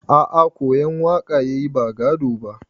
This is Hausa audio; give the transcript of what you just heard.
A a koyan waka yayi ba gado ba.